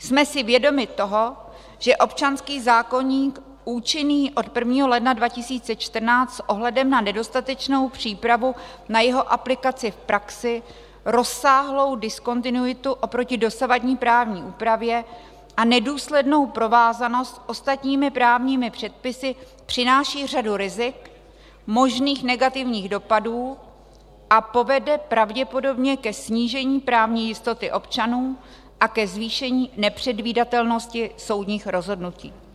Jsme si vědomi toho, že občanský zákoník účinný od 1. ledna 2014 s ohledem na nedostatečnou přípravu na jeho aplikaci v praxi, rozsáhlou diskontinuitu oproti dosavadní právní úpravě a nedůslednou provázanost s ostatními právními předpisy přináší řadu rizik, možných negativních dopadů a povede pravděpodobně ke snížení právní jistoty občanů a ke zvýšení nepředvídatelnosti soudních rozhodnutí.